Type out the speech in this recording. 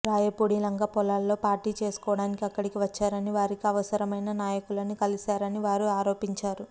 రాయపూడి లంక పొలాల్లో పార్టీ చేసుకోవడానికి ఇక్కడికి వచ్చారని వారికి అవసరమైన నాయకులని కలిశారని వారు ఆరోపించారు